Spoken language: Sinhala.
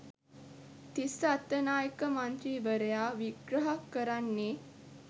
තිස්ස අත්තනායක මන්ත්‍රීවරයා විග්‍රහ කරන්නේ